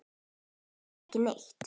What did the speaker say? Þekkti hann ekki neitt.